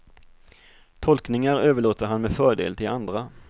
Tolkningar överlåter han med fördel till andra.